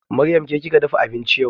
Maryam ke kika dafa abinci yau?